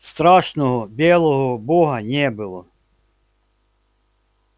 страшного белого бога не было